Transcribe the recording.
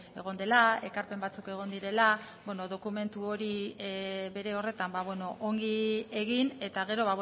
egon dela ekarpen batzuk egon direla dokumentu hori bere horretan ongi egin eta gero